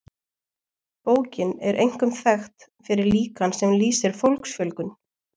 bókin er einkum þekkt fyrir líkan sem lýsir fólksfjölgun